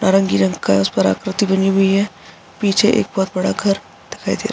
नारंगी रंग का है उसपर आकृति बनी हुई है पीछे एक बहोत बड़ा घर दिखाई दे --